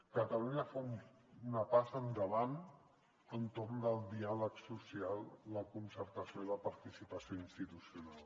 catalunya fa una passa endavant entorn del diàleg social la concertació i la participació institucional